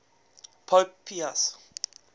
pope pius